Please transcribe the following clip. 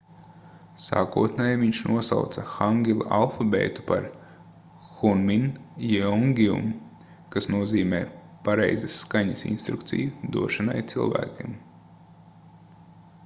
sākotnēji viņš nosauca hangila alfabētu par hunmin jeongeum kas nozīmē pareizas skaņas instrukciju došanai cilvēkiem